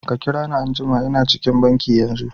Ka kira ni anjuma. lna cikin banki yanzu.